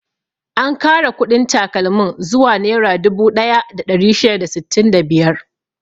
An kara kuɗin takalmin zuwa nera dubu ɗaya da ɗari shida da sittin da biyar.